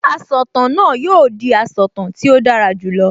Asọ̀tàn náà yóò di asọ̀tàn tí ó dára jù lọ